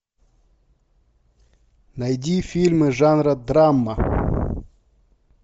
найди фильмы жанра драма